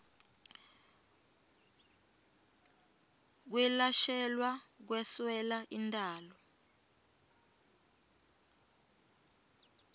kwelashelwa kweswela intalo